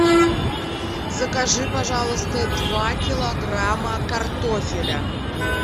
закажи пожалуйста два килограмма картофеля